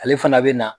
Ale fana bɛ na